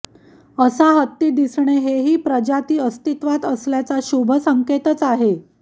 असा हत्ती दिसणे हे ही प्रजाती अस्तित्वात असल्याचा शुभसंकेतच आहे